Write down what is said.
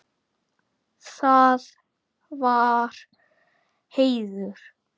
Það var heiður.